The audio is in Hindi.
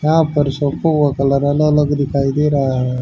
यहां पर शैंपू का कलर अलग अलग दिखाई दे रहा है।